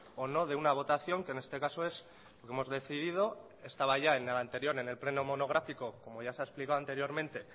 o no de una votación que en este caso es lo hemos decidido estaba ya en el anterior en el pleno monográfico como ya se ha explicado anteriormente